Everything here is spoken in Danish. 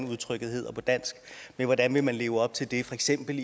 udtrykket hedder på dansk men hvordan vil man leve op til det i for eksempel